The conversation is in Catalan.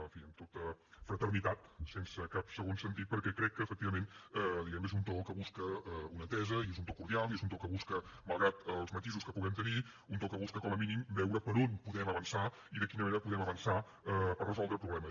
en fi amb tota fraternitat sense cap segon sentit perquè crec que efectivament diguem ne és un to que busca una entesa i és un to cordial i és malgrat els matisos que puguem tenir un to que busca com a mínim veure per on podem avançar i de quina manera podem avançar per resoldre problemes